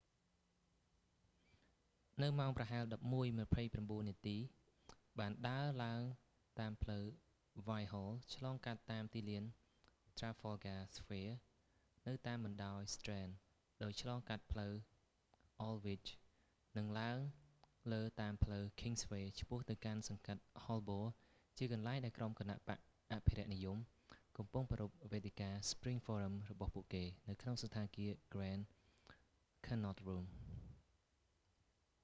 នៅម៉ោងប្រហែល 11:29 នាទី បានដើរឡើងតាមផ្លូវ whitehall ឆ្លងកាត់តាមទីលាន trafalgar square នៅតាមបណ្តោយ strand ដោយឆ្លងកាត់ផ្លូវ aldwych និងឡើងលើតាមផ្លូវ kingsway ឆ្ពោះទៅកាន់សង្កាត់ holbor ជាកន្លែងដែលក្រុមគណបក្សអភិរក្សនិយមកំពុងប្រារព្ធវេទិកា spring forum របស់ពួកគេ នៅក្នុងសណ្ឋាគារ grand connaught room